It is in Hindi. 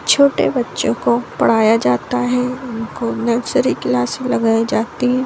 छोटे बच्चों को पढ़ाया जाता है उनको नर्सरी क्लास में लगाई जाती है।